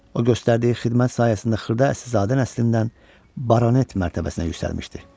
O göstərdiyi xidmət sayəsində xırda əsilzadə nəslindən Baranet mərtəbəsinə yüksəlmişdi.